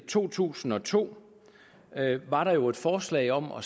to tusind og to var der jo et forslag om at